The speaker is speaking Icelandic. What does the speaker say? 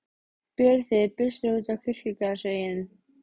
Berið þið byssur út á kirkjugarðsvegginn.